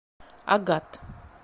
агат